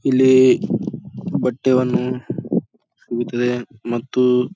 ಇಲ್ಲಿ ಬಟ್ಟೆ ವನ್ನು ಸಿಗುತ್ತದೆ ಮತ್ತು --